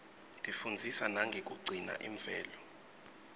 tifundzisa nangekugcina imvelo